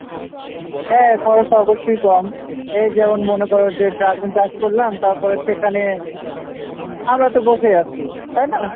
হ্যাঁ খরচ তো অবশ্যই কম এই যেমন মনে করো যে dragon চাষ করলাম তারপর সেখানে আমরা তো বসে আছি তাইনা?